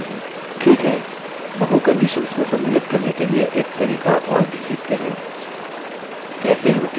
ठीक है बहु conditions को सम्मिलित करने के लिए एक तरीका और भी सीखते हैं